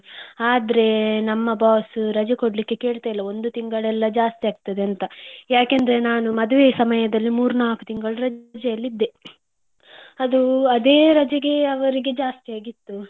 ಆದ್ರೆ ನಮ್ಮ boss ರಜೆ ಕೊಡಲಿಕ್ಕೆ ಕೇಳ್ತಾ ಇಲ್ಲ ಒಂದು ತಿಂಗಳಲ್ಲ ಜಾಸ್ತಿ ಆಗ್ತದೆ ಅಂತ, ಯಾಕೆಂದ್ರೆ ನಾನು ಮದ್ವೆ ಸಮಯದಲ್ಲಿ ಮೂರು ನಾಲ್ಕು ತಿಂಗಳು ರಜೆಯಲ್ಲಿ ಇದ್ದೆ ಅದು ಅದೇ ರಜೆಗೆ ಅವರಿಗೆ ಜಾಸ್ತಿ ಆಗಿತ್ತು.